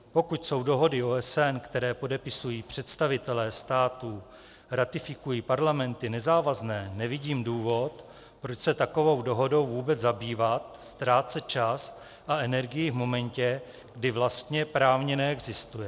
Pokud jsou dohody OSN, které podepisují představitelé států, ratifikují parlamenty, nezávazné, nevidím důvod, proč se takovou dohodou vůbec zabývat, ztrácet čas a energii v momentě, kdy vlastně právně neexistuje.